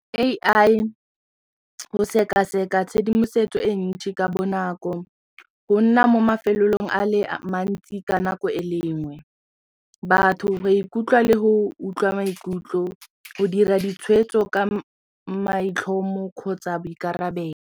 A_I go sekaseka tshedimosetso e ntšhi ka bonako go nna mo mafelong a le mantsi ka nako e lenngwe, batho ba ikutlwa le go utlwa maikutlo go dira ditshweetso ka maitlhomo kgotsa boikarabelo.